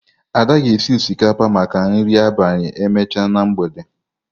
Ada ga-esi osikapa maka nri abalị emechaa na mgbede a.